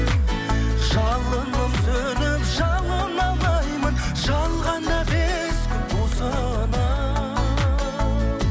жалынып сөніп жалына алмаймын жалғанда бес күн осынау